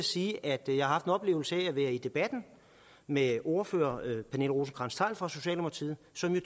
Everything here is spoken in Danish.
sige at jeg har haft en oplevelse ved at være med i debatten med ordfører pernille rosenkrantz theil fra socialdemokratiet som jo